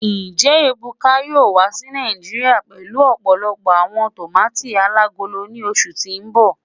Njẹ Ebuka yoo wa si Naijiria pẹlu ọpọlọpọ awọn tomati alagolo ni oṣu ti n bọ?